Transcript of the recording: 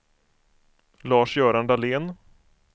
Lars-Göran Dahlén